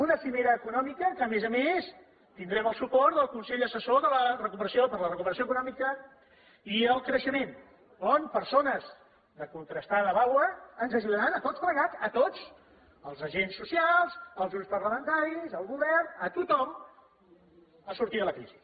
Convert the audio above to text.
una cimera econòmica que a més a més tindrem el suport del consell assessor per la recuperació econòmica i el creixement on persones de contrastada vàlua ens ajudaran a tots plegats a tots als agents socials als grups parlamentaris al govern a tothom a sortir de la crisi